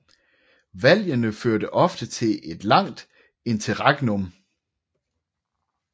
Valgene førte ofte til et langt interregnum